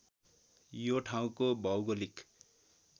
यो ठाउँको भौगोलिक